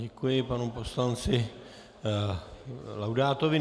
Děkuji panu poslanci Laudátovi.